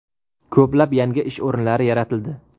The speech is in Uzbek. Ko‘plab yangi ish o‘rinlari yaratildi.